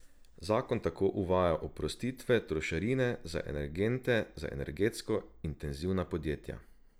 Zakon tako uvaja oprostitve trošarine za energente za energetsko intenzivna podjetja.